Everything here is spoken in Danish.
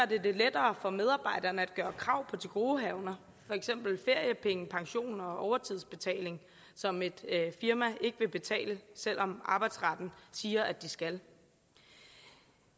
det det lettere for medarbejderne at gøre krav på tilgodehavender for eksempel feriepenge pension og overtidsbetaling som et firma ikke vil betale selv om arbejdsretten siger at de skal